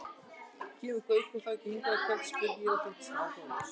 Kemur Gaukur þá ekki hingað í kvöld? spurði ég og þóttist áhugalaus.